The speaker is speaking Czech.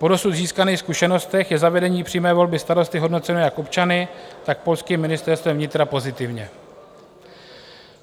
Po dosud získaných zkušenostech je zavedení přímé volby starosty hodnoceno jak občany, tak polským ministerstvem vnitra pozitivně.